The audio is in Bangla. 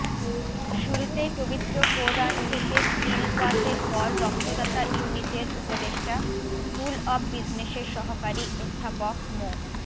শুরুতেই পবিত্র কোরআন থেকে তিলওয়াতের পর রক্তদাতা ইউনিটের উপদেষ্টা স্কুল অব বিজনেসের সহকারী অধ্যাপক মো